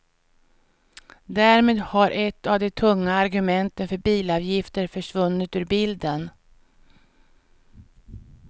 Därmed har ett av de tunga argumenten för bilavgifter försvunnit ur bilden.